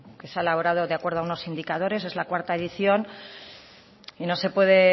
quizá elaborado de acuerdo a unos indicadores es la cuarto edición y no se puede